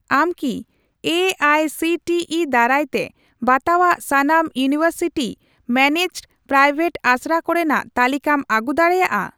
ᱟᱢ ᱠᱤ A I C T E ᱫᱟᱨᱟᱭᱛᱮ ᱵᱟᱛᱟᱣᱟᱜ ᱥᱟᱱᱟᱢ ᱤᱭᱩᱱᱤᱣᱮᱨᱥᱤᱴᱤ ᱢᱮᱱᱮᱡᱰᱼᱯᱨᱟᱭᱶᱮᱴ ᱟᱥᱲᱟ ᱠᱚᱨᱮᱱᱟᱜ ᱛᱟᱞᱤᱠᱟᱢ ᱟᱹᱜᱩ ᱫᱟᱲᱮᱭᱟᱜᱼᱟ ?